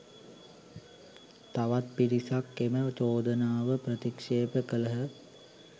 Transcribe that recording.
තවත් පිරිසක් එම චෝදනාව ප්‍රතික්ෂේප කළහ